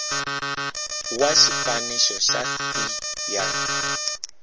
wa xifaniso xa c ya